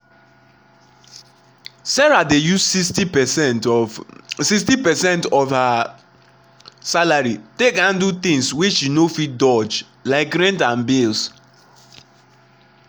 sarah dey use 60 percent of 60 percent of her salary take handle things wey she no fit dodge—like rent and bills